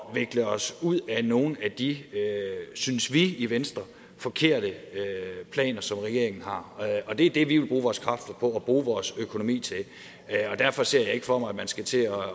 at vikle os ud af nogle af de synes vi i venstre forkerte planer som regeringen har det er det vi vil bruge vores kræfter på og bruge vores økonomi til derfor ser jeg ikke for mig at man skal til at